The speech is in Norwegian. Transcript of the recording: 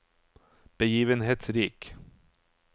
begivenhetsrik